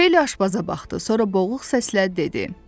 Xeyli aşpaza baxdı, sonra boğuq səslə dedi.